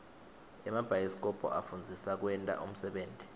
emabhayisikobho afundzisa kwenta unsebenti